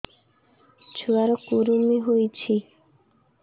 ଛୁଆ ର କୁରୁମି ହୋଇଛି